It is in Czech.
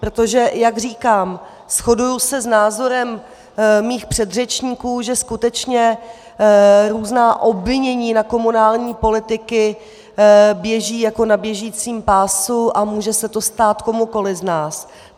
Protože jak říkám, shoduji se s názorem svých předřečníků, že skutečně různá obvinění na komunální politiky běží jako na běžícím pásu a může se to stát komukoli z nás.